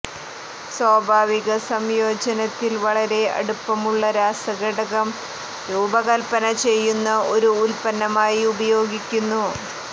സ്വാഭാവിക സംയോജനത്തിൽ വളരെ അടുപ്പമുള്ള രാസഘടകം രൂപകൽപ്പന ചെയ്യുന്ന ഒരു ഉത്പന്നമായി ഉപയോഗിക്കുന്നു